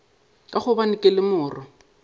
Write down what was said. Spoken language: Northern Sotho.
ka gobane ke le morwa